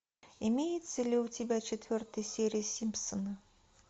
имеется ли у тебя четвертая серия симпсоны